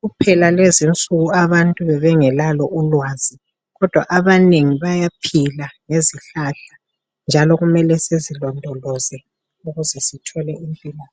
kuphela lezi insuku abantu bebengelalulwazi kodwa abanengi bayaphila ngezihlahla njalo kumele sizilondoloze ukuze sithole impilo